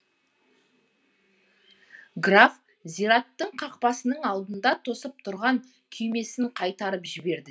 граф зират қақпасының алдында тосып тұрған күймесін қайтарып жіберді